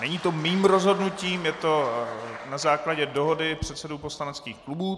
Není to mým rozhodnutím, je to na základě dohody předsedů poslaneckých klubů.